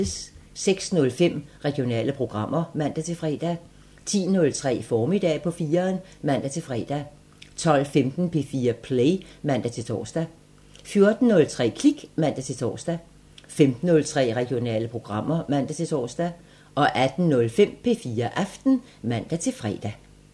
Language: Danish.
06:05: Regionale programmer (man-fre) 10:03: Formiddag på 4'eren (man-fre) 12:15: P4 Play (man-tor) 14:03: Klik (man-tor) 15:03: Regionale programmer (man-tor) 18:05: P4 Aften (man-fre)